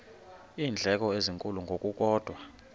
iindleko ezinkulu ngokukodwa